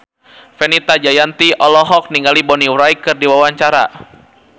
Fenita Jayanti olohok ningali Bonnie Wright keur diwawancara